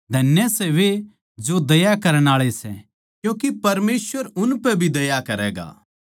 धन्य सै वे जो दया करण आळे सै क्यूँके परमेसवर भी उनपै भी दया करैगा